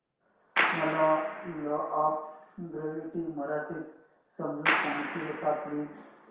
मला law of gravity मराठीत समजून सांगशील का प्लीज